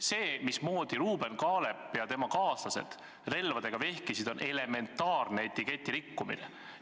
See, mismoodi Ruuben Kaalep ja tema kaaslased relvadega vehkisid, on elementaarne etiketi rikkumine.